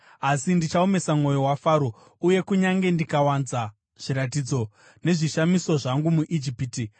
Asi ndichaomesa mwoyo waFaro uye kunyange ndikawanza zviratidzo nezvishamiso zvangu muIjipiti,